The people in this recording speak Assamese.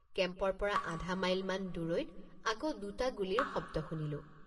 কেম্পৰপৰ৷ আধামাইলমান দূৰৈত আকৌ দুট৷ গুলীৰ শব্দ শুনিলোঁ।